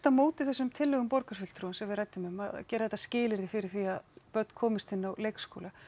á móti þessum tillögum borgarfulltrúans sem við ræddum um að gera þetta að skilyrði fyrir því að börn komist inn á leikskóla